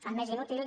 el més inútil